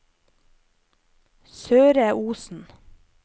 Søre Osen